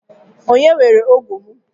Onye weere ógụ́ m?